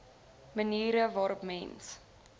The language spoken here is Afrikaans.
maniere waarop mens